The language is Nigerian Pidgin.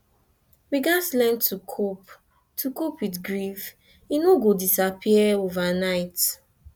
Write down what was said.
we gats learn to cope to cope with grief e no go disappear overnight